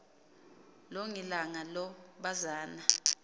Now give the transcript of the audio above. longilanga lo bazana